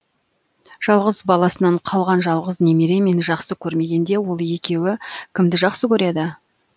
жалғыз баласынан қалған жалғыз немере мені жақсы көрмегенде ол екеуі кімді жақсы көреді